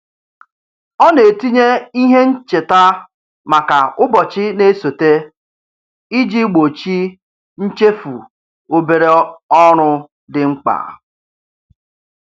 Ọ na-etinye ihe ncheta maka ụbọchị na-esote iji gbochi nchefu obere ọrụ dị mkpa.